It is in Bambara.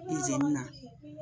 izini na